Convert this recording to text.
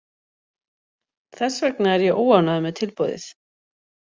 Þess vegna er ég óánægður með tilboðið.